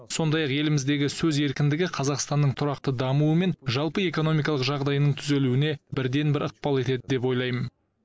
сондай ақ еліміздегі сөз еркіндігі қазақстанның тұрақты дамуы мен жалпы экономикалық жағдайының түзелуіне бірден бір ықпал етеді деп ойлаймын